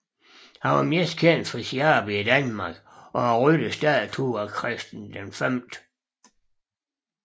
Han er mest kendt for sit arbejde i Danmark og rytterstatuen af Christian V